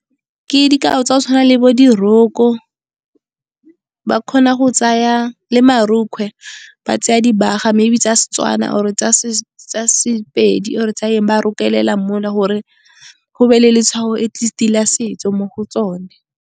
Ke dikao tsa go tshwana le bo diroko, ba kgona go tsaya le marokgwe, ba tsaya dibaga maybe tsa Setswana or tsa Sepedi or tsa eng, ba rokelela gore go be le letshwao atleast la setso mo go tsone.